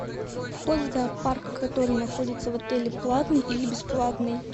вход в зоопарк который находится в отеле платный или бесплатный